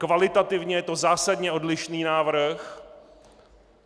Kvalitativně je to zásadně odlišný návrh.